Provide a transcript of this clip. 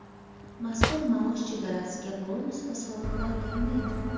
Mazkur maosh chegarasiga bonus va soliqlar kirmaydi.